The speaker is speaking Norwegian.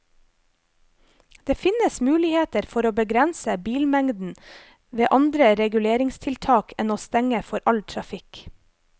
Det finnes muligheter for å begrense bilmengden ved andre reguleringstiltak enn å stenge for all trafikk.